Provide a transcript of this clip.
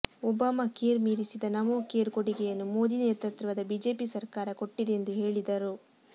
Obama care ಮೀರಿಸಿದ NaMo care ಕೊಡುಗೆಯನ್ನು ಮೋದಿ ನೇತೃತ್ವದ ಬಿಜೆಪಿ ಸರ್ಕಾರ ಕೊಟ್ಟಿದೆ ಎಂದು ಹೇಳಿದರು